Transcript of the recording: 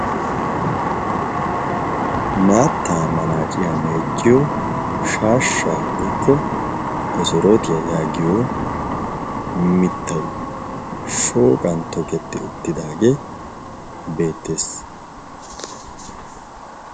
maatta manaaciyaa meecciyo shaashsha goyikko kosorootiyaa yaagiyo mittai shooqan toketti uttidaagee beettees.